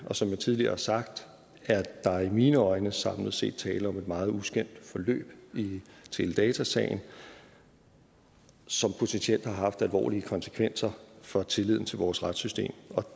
som jeg tidligere har sagt er der i mine øjne samlet set tale om et meget uskønt forløb i teledatasagen som potentielt har haft alvorlige konsekvenser for tilliden til vores retssystem